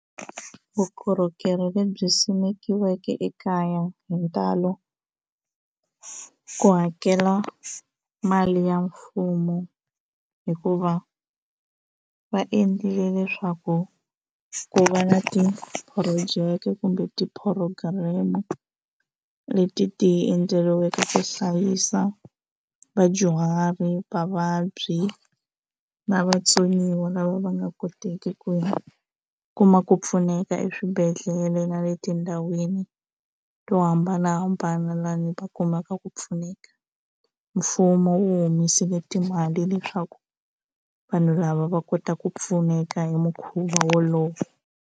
Vukorhokeri lebyi simekiweke ekaya hi ntalo ku hakela mali ya mfumo hikuva va endlile leswaku ku va na ti-project kumbe ti-program leti ti endleriweke ku hlayisa vadyuhari va vabyi na vatsoniwa lava va nga koteki ku kuma ku pfuneka eswibedhlele na le tindhawini to hambanahambana laha ndzi va kumaka ku pfuneka mfumo wu humesile timali leswaku vanhu lava va kotaka ku pfuneka hi mukhuva wolowo.